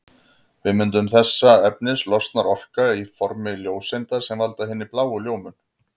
Við myndun þessa efnis losnar orka á formi ljóseinda sem valda hinni bláu ljómun.